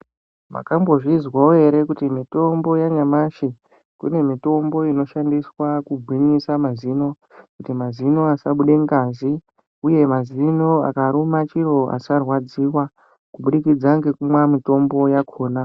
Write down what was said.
Makambozvizwawo ere kuti mitombo yanyamashi kune mitombo inoshandiswa kugwinyisa mazino kuti mazino asabuda ngazi uye mazino akaruma chiro asarwadziwa kubudikidza nekumwa mutombo yakona.